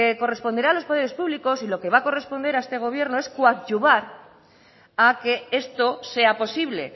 corresponderá a los poderes públicos y lo que va a corresponder a este gobierno es coadyuvar a que esto sea posible